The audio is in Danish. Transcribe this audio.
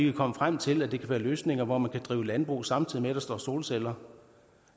vi komme frem til at det kan være løsninger hvor man kan drive landbrug samtidig med at der står solceller